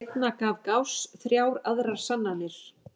Seinna gaf Gauss þrjár aðrar sannanir.